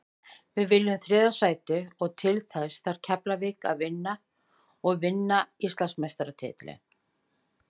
Við viljum þriðja sætið og til þess þarf Keflavík að vinna og vinna Íslandsmeistaratitilinn.